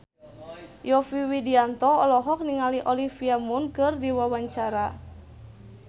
Yovie Widianto olohok ningali Olivia Munn keur diwawancara